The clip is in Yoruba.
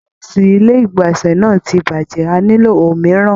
Burọ̀sì ilé igbọnsẹ náà ti bajẹ, a nilo òmíràn.